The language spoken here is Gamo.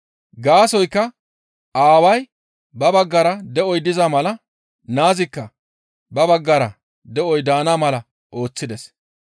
Gaasoykka Aaway ba baggara de7oy diza mala naazikka ba baggara de7oy daana mala ooththides.